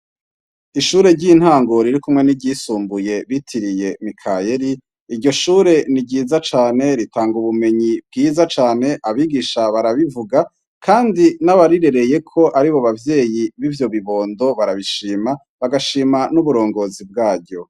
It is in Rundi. Ishure ry'intango ririkumwe n'iryisumbuye bitiriye Mikayeri, iryo shure ni ryiza cane ritanga ubumenyi bwiza cane, abigisha barabivuga kandi n'abarirereyeko aribo bavyeyi b'ivyo bibondo barabishima, bagashima n'uburongozi bwaryo.